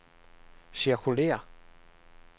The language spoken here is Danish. cirkulér